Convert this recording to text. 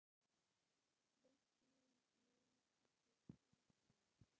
Vötnin munu ekki klofna